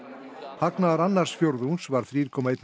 hagnaður annars fjórðungs var þrjú komma eitt